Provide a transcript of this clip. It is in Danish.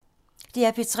DR P3